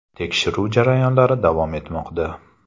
Tekshiruv jarayonlari davom etmoqda.